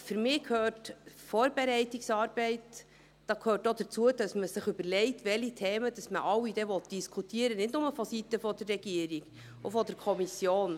Für mich gehört zur Vorbereitungsarbeit auch, dass man sich überlegt, welche Themen man diskutieren will, nicht nur seitens der Regierung, sondern auch seitens der Kommission.